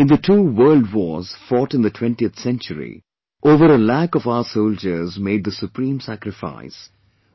In the two worldwars fought in the 20th century, over a lakh of our soldiers made the Supreme Sacrifice;